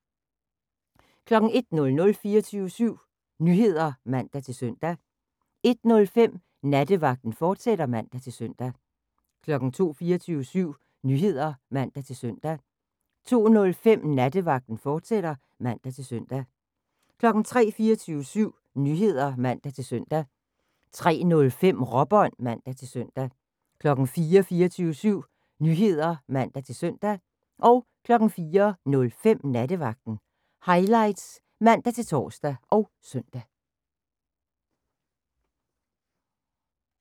01:00: 24syv Nyheder (man-søn) 01:05: Nattevagten, fortsat (man-søn) 02:00: 24syv Nyheder (man-søn) 02:05: Nattevagten, fortsat (man-søn) 03:00: 24syv Nyheder (man-søn) 03:05: Råbånd (man-søn) 04:00: 24syv Nyheder (man-søn) 04:05: Nattevagten Highlights (man-tor og søn)